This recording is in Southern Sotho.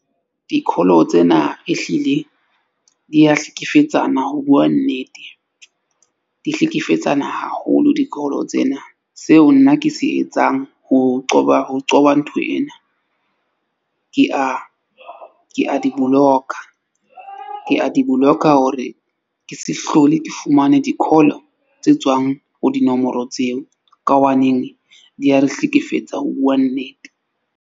Di-call-o tsena, e hlile di ya hlekefetsana ho bua nnete. Di hlekefetsana haholo di-call-o tsena. Seo nna ke se etsang ho qoba ho qoba ntho ena. Ke a ke a di boloka, ke a di boloka hore ke se hlole ke fumane di-call-o tse tswang ho dinomoro tseo ka hobane di a re hlekefetsa ho bua nnete.